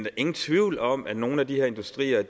er ingen tvivl om at nogle af de her industrier